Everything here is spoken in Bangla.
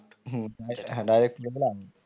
হম হ্যাঁ direct পড়ে গেলে out